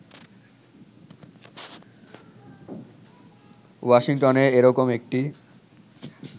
ওয়াশিংটনে এরকম একটি